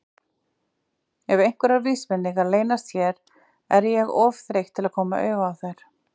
Ef einhverjar vísbendingar leynast hérna er ég of þreytt til að koma auga á þær.